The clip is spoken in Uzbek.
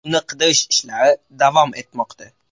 Uni qidirish ishlari davom etmoqda.